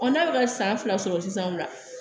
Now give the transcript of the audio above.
n'a bɛ ka san fila sɔrɔ sisan o la